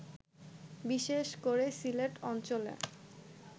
বিশেষ করে সিলেট অঞ্চলে